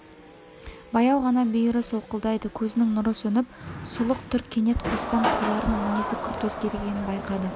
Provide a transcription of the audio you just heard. баяу ғана бүйірі солқылдайды көзінің нұры сөніп сұлық тұр кенет қоспан қойларының мінезі күрт өзгергенін байқады